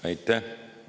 Aitäh!